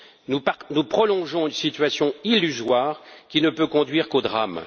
Nous prolongeons une situation illusoire qui ne peut conduire qu'au drame.